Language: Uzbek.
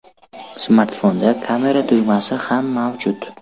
Smartfonda kamera tugmasi ham mavjud.